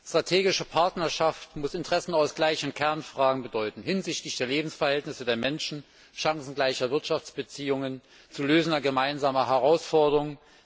Strategische Partnerschaft muss Interessenausgleich in Kernfragen bedeuten, hinsichtlich der Lebensverhältnisse der Menschen, chancengleicher Wirtschaftsbeziehungen und zu lösender gemeinsamer Herausforderungen.